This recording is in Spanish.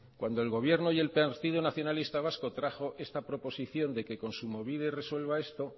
cuando el gobierno y el partido nacionalista vasco trajo esta proposición de que kontsumobide resuelva esto